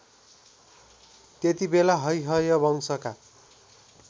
त्यतिबेला हैहयवंशका